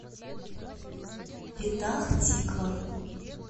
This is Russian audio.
петах тиква